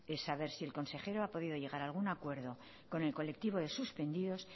el saber si el consejero ha podido llegar a algún acuerdo con el colectivo de suspendidos